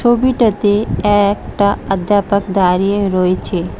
ছবিটাতে একটা অধ্যাপক দাঁড়িয়ে রয়েছে।